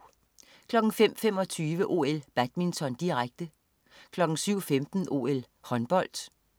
05.25 OL: Badminton, direkte 07.15 OL: Håndbold